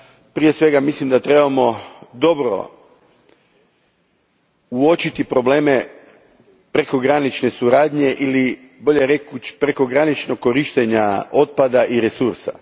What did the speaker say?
prije svega, mislim da trebamo dobro uočiti probleme prekogranične suradnje, ili bolje rečeno, prekograničnog korištenja otpada i resursa.